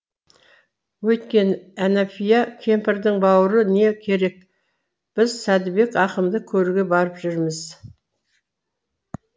өйткені әнафия кемпірдің бауыры не керек біз сәдібек ақынды көруге барып жүрміз